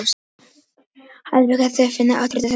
Þessa nýju tækni má nota með ýmsum hætti til að finna áttirnar.